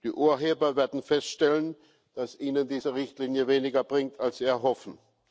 Die Urheber werden feststellen, dass ihnen diese Richtlinie weniger bringt, als sie erhoffen.